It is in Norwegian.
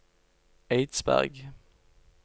Eidsberg